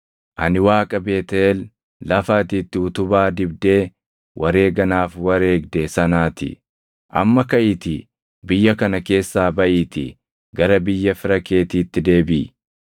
Ani Waaqa Beetʼeel lafa ati itti utubaa dibdee wareega naaf wareegde sanaa ti. Amma kaʼiitii biyya kana keessaa baʼiitii gara biyya fira keetiitti deebiʼi.’ ”